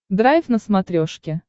драйв на смотрешке